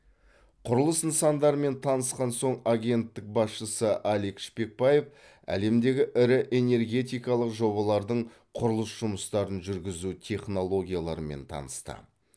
құрылыс нысандарымен танысқан соң агенттік басшысы алик шпекбаев әлемдегі ірі энергетикалық жобалардың құрылыс жұмыстарын жүргізу технологияларымен танысты